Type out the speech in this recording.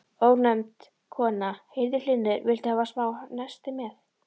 Ónefnd kona: Heyrðu Hlynur, viltu hafa smá nesti með?